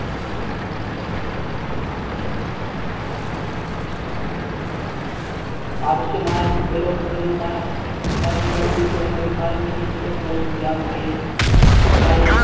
ആവശ്യമായതും ഉപയോഗപ്രദവുമായ മരുന്നുകൾ ഉൾകൊള്ളുന്ന ഒരു മരുന്ന് kit എപ്പോഴും യാത്രയിൽ കൈവശം